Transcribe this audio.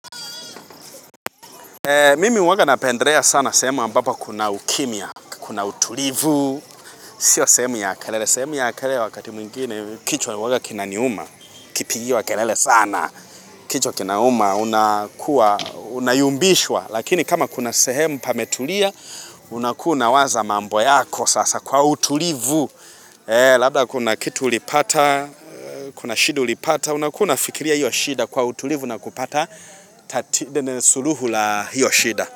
Mimi huwanga napendrea sana sehemu ambapo kuna ukimya, kuna utulivu, sio sehemu ya kelele, sehemu ya kelele wakati mwingine, kichwa huwanga kinaniuma, kipigiwa kelele sana, kichwa kinaniuma, unayumbishwa, lakini kama kuna sehemu pametulia, unakuwa una waza mambo yako sasa kwa utulivu. Labda kuna kitu ulipata, kuna shida ulipata, unakuwa unafikiria hiyo shida kwa utulivu na kupata suluhu la hiyo shida.